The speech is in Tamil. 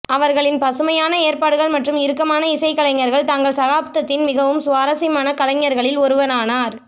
அவர்களின் பசுமையான ஏற்பாடுகள் மற்றும் இறுக்கமான இசைக்கலைஞர்கள் தங்கள் சகாப்தத்தின் மிகவும் சுவாரசியமான கலைஞர்களில் ஒருவரானார்